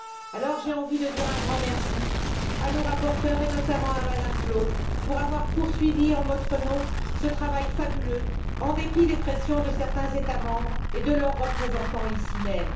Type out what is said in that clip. Alors, j'ai envie de dire un grand merci à nos rapporteurs, et notamment à Mme Flautre, pour avoir poursuivi en notre nom ce travail fabuleux en dépit des pressions de certains États membres et de leurs représentants ici même.